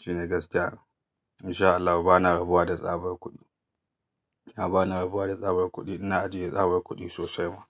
Shine gaskiya in sha Allah ba na rabuwa da tsabar kuɗi. A'a bana rabuwa da tsabar kuɗi ina ajiye tsabar kuɗi sosai ma.